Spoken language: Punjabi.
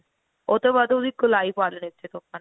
ਉਹ ਤੋਂ ਬਾਅਦ ਉਹਦੀ ਗੋਲਾਈ ਨੀਚੇ ਤੋਂ ਆਪਾਂ ਨੇ